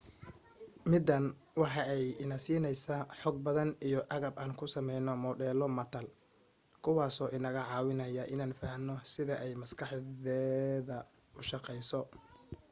midaan waxa ay ina siineysa xog badan iyo agab aan ku sameyno modelo matal kuwaaso inaga caawinaya inaan fahano sida ay maskaxdeeda ushaqeyso